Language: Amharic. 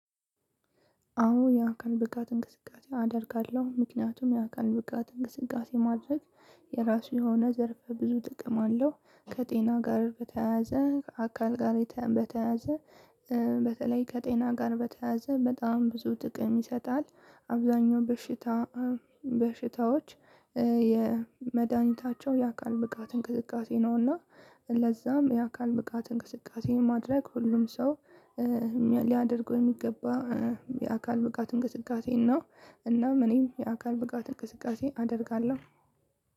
አወ የአካል ብቃት እንቅሰቃሴ አደርጋለሁ ምክንያቱም የአካል ብቃት እንቅስቃሴ ማድረግ የራሱ የሆነ ዘርፈ ብዙ ጥቅም አለው። ስለዚህ ከጤናጋር በተያያዘ አካል ጋር በተያያዘ በተለይ ከጤና ጋር በተያያዘ በጣም ብዙ ጥቅም ይሰጣል። አብዛኛው በሽታ በሽታዎች የመድኃኒታቸው የአካል ብቃት እንቅስቃሴ ነው። እና ለዛም የአካል ብቃት እንቅስቃሴ ማድረግ ሁሉም ሰው። ሊያደርገው የሚገባ የአካል ብቃት እንቅስቃሴ እና እናም እኔም የአካል ብቃት እንቅስቃሴ አደርጋለሁ።